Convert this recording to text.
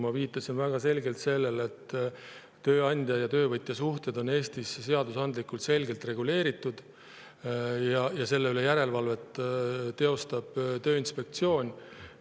Ma viitasin väga selgelt sellele, et tööandja ja töövõtja suhted on Eestis seadusandlikult selgelt reguleeritud ja selle üle teostab järelevalvet Tööinspektsioon.